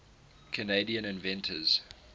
canadian inventors